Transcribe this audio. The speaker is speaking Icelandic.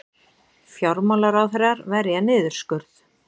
Fjármálaráðherrar verja niðurskurð